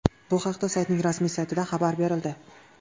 Bu haqda saytning rasmiy saytida xabar berildi .